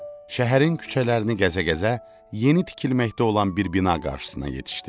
Şəhərin küçələrini gəzə-gəzə yeni tikilməkdə olan bir bina qarşısına yetişdi.